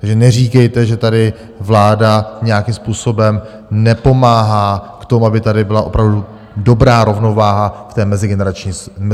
Takže neříkejte, že tady vláda nějakým způsobem nepomáhá k tomu, aby tady byla opravdu dobrá rovnováha v té mezigenerační solidaritě.